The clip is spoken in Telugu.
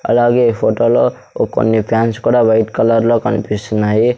అలాగే ఈ ఫోటోలో ఓ కొన్ని ఫ్యాన్స్ కూడా వైట్ కలర్లో కన్పిస్తున్నాయి.